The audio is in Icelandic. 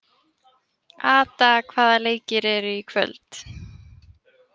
Ada, hvaða leikir eru í kvöld?